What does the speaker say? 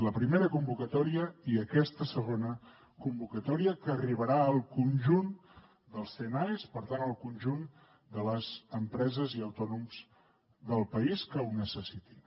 la primera convocatòria i aquesta segona convocatòria que arribarà al conjunt dels cnaes per tant al conjunt de les empreses i autònoms del país que ho necessitin